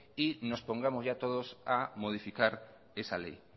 y nos pongamos ya todos a modificar esa ley